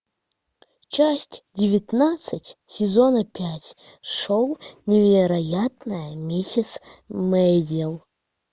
часть девятнадцать сезона пять шоу невероятная миссис мейзел